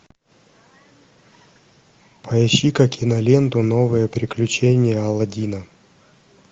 поищи ка киноленту новые приключения алладина